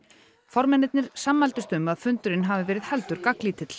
formennirnir sammæltust um að fundurinn hafi verið heldur